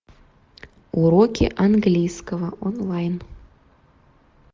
уроки английского онлайн